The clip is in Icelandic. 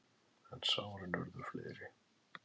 En sárin urðu fleiri.